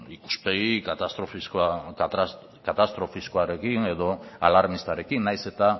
ikuspegi katastrofiskoarekin edo alarmistarekin nahiz eta